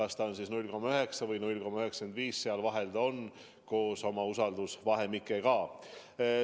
See on 0,9 ja 0,95 vahel koos usaldusvahemikega.